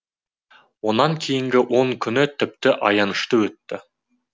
онан кейінгі он күні тіпті аянышты өтті